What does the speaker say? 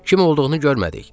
Kim olduğunu görmədik.